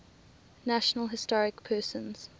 national historic persons